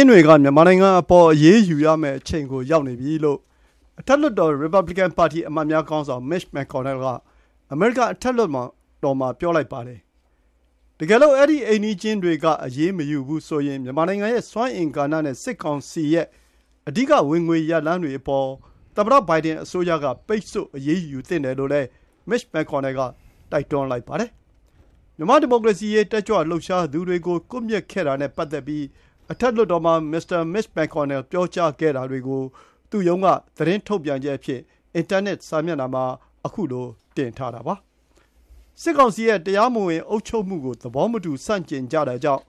ျင်းတွေက မြန်မာနိုင်ငံအပေါ် အရေးယူရမယ့်အချိန်ကို ရောက်နေပြီလို့ အထက်လွှတ်တော် ရီပါဘလီကန်ပါတီအမတ်များ ခေါင်းဆောင် Mitch McConnell က အမေရိကန်အထက်လွှတ်တော်မှာ ပြောလိုက်ပါတယ်။ တကယ်လို့ အဲဒီ အိမ်နီးချင်းတွေက အရေးမယူဘူးဆိုရင် မြန်မာနိုင်ငံရဲ့ စွမ်းအင်ကဏ္ဍနဲ့ စစ်ကောင်စီရဲ့ အဓိကဝင်ငွေရလမ်းတွေအပေါ် သမ္မတဘိုင်ဒန်အစိုးရ က ပိတ်ဆို့အရေးယူသင့်တယ်လို့ Mitch McConnell က ပြောကြားလိုက်ပါတယ်။ မြန်မာ့ဒီမိုကရေစီရေး တက်ကြွလှုပ်ရှားသူတွေကို ကွပ်မျက်ခဲ့တာနဲ့ ပတ်သက်ပြီး အထက်လွှတ်တော်မှာ မစ္စတာ Mitch McConnell ပြောကြားခဲ့တာတွေကို သူ့ရုံးက သတင်းထုတ်ပြန်ချက်အဖြစ် ထုတ်ပြန်ထားတာ ဖြစ်ပါတယ်။ စစ်ကောင်စီရဲ့ တရားမဝင်အုပ်ချုပ်မှုကို သဘောမတူဆန့်ကျင်ကြတာကြောင့်